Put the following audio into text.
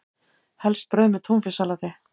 Helst brauð með túnfisksalati.